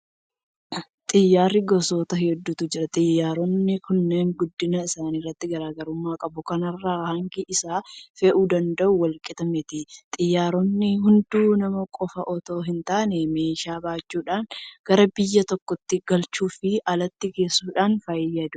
Xiyyaarri gosoota hedduutu jira. Xiyyaaronni kunneen guddina isaaniitiin garaa garummaa qabu. Kana irraa hangi isaan fe'uu danda'an walqixa miti. Xiyyaaronni hedduun nama qofa itoo hintaane meeshaa baachuudhaan gara biyya tokkootti galchuufi alatti geessuudhaaf fayyadaa jiru.